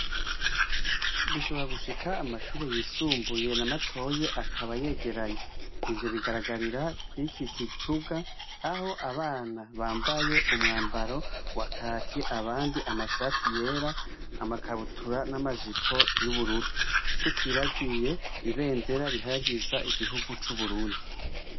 Bishobora gushika amashure mutoyi nayisumbuye akaba yegeranye ivyo bigaragarira kw'iki kibuga aho abana bambaye umwambaro wa Kaki, abandi amashati yera, amakabutura n'amajipo y'ubururu, tutibahiye ibendera rihayagiza igihugu c'uburundi.